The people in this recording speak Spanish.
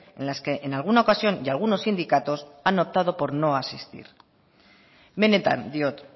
en las que en alguna ocasión y algunos sindicatos han optado por no asistir benetan diot